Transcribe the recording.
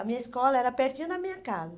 A minha escola era pertinho da minha casa.